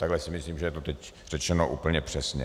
Takhle si myslím, že je to teď řečeno úplně přesně.